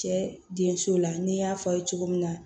Cɛ denso la n'i y'a fɔ aw ye cogo min na